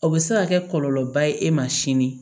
O bɛ se ka kɛ kɔlɔlɔba ye e ma sini